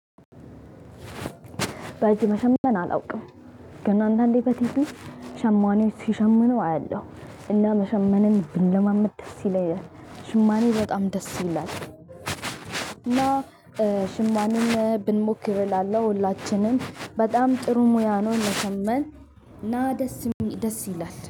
በእጅ መሸመን አላውቅም። ግን አንዳንዴ በቲቪ ሸማኔዎች ሲሸምኑ አያለሁ። እና መሸማንን ብለማመድ ደስ ይለኛል። ሽማኔ በጣም ደስ ይላል። እና ሽማኔን ብንሞክር እላለሁ ሁላችንም በጣም ጥሩ ሙያ ነው መሸማን እና ደስ ደስ ይላል።